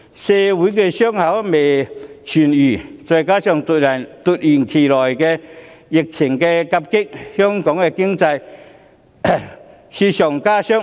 社會的傷口未痊癒，再加上最近突如其來的疫情夾擊，令香港的經濟雪上加霜。